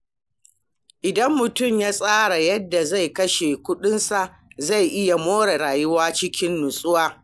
Idan mutum ya tsara yadda zai kashe kuɗinsa, zai iya more rayuwa cikin nutsuwa.